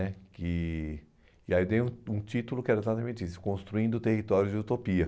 né que e aí eu dei um um título que era exatamente isso, Construindo Territórios de Utopia.